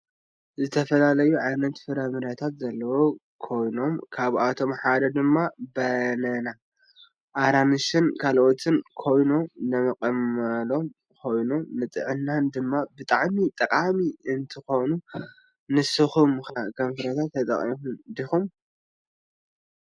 ዝተፈላለዩ ዓይነት ፍረምረታት ዘለዎ ኮይኖም ካብአቶም ሓደ ድማ በነና ፤አራንሽን ካልአትን ኮይኖም ንጥቅመሎም ኮይኖም ንጥዕናና ድማ ብጣዕሚ ጠቃሚ እንትኮን ንስኩም ከ ፍርምርታት ተጠቀምቲ ዲኩም?